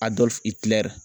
Adɔlf Iklɛri.